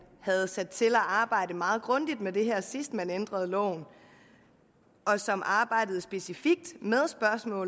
havde sat til at arbejde meget grundigt med det her sidst man ændrede loven og som arbejdede specifikt